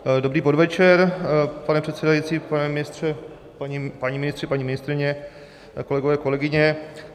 Dobrý podvečer, pane předsedající, pane ministře, páni ministři, paní ministryně, kolegové, kolegyně.